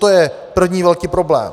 To je první velký problém.